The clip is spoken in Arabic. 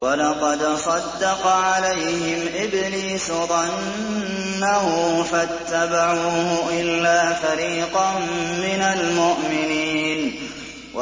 وَلَقَدْ صَدَّقَ عَلَيْهِمْ إِبْلِيسُ ظَنَّهُ فَاتَّبَعُوهُ إِلَّا فَرِيقًا مِّنَ الْمُؤْمِنِينَ